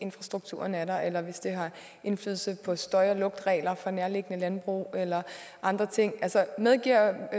infrastrukturen er der eller hvis det har indflydelse på støj og lugtregler fra nærliggende landbrug eller andre ting medgiver